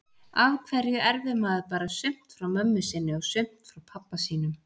Af hverju erfir maður bara sumt frá mömmu sinni og sumt frá pabba sínum?